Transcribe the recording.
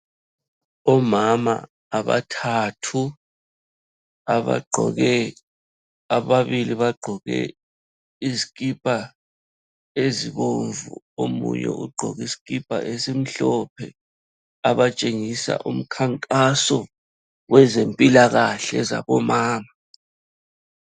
Omama abathathu abagqoke, ababili bagqoke izikipa ezibomvu omunye ugqoke isikipa esimhlophe abatshengisa umkhankaso wezempilakahle zabomama.